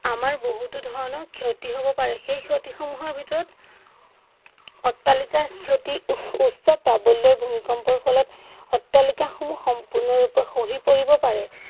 আমাৰ বহুতো ধৰণৰ ক্ষতি হব পাৰে। সেই ক্ষতি সমুহৰ ভিতৰত অত্তালিকাৰ ক্ষতি উচ উচ্চপাবল্য় ভূমিকম্পৰ ফলত অত্তালিকা সমুহ সম্পুৰ্ণৰূপে খহি পৰিব পাৰে।